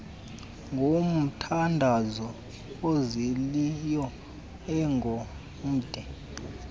ngomthandazo ozolileyo engemde